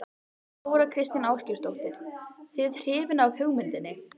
Þóra Kristín Ásgeirsdóttir:. þið hrifin af hugmyndinni?